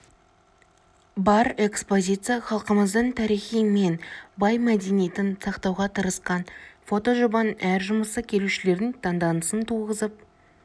бар экспозиция халқымыздың тарихы мен бай мәдениетін сақтауға тырысқан фотожобаның әр жұмысы келушілердің таңданысын туғызып